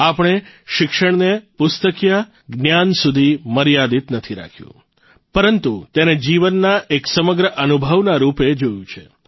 આપણે શિક્ષણને પુસ્તકિયા જ્ઞાન સુધી મર્યાદિત નથી રાખ્યું પરંતુ તેને જીવનના એક સમગ્ર અનુભવના રૂપે જોયું છે